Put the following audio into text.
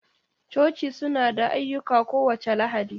Coci suna da ayyuka kowace Lahadi.